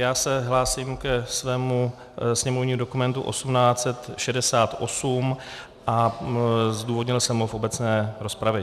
Já se hlásím ke svému sněmovnímu dokumentu 1868 a zdůvodnil jsem ho v obecné rozpravě.